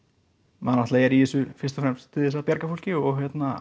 maður náttúrulega er í þessu fyrst og fremst til þess að bjarga fólki og